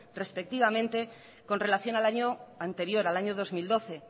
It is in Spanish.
respectivamente con relación al año anterior al año dos mil doce